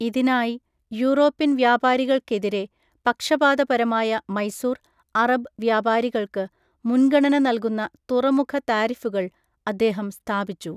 ഇതിനായി, യൂറോപ്യൻ വ്യാപാരികൾക്കെതിരെ പക്ഷപാതപരമായ മൈസൂർ, അറബ് വ്യാപാരികൾക്ക് മുൻഗണന നൽകുന്ന തുറമുഖ താരിഫുകൾ അദ്ദേഹം സ്ഥാപിച്ചു.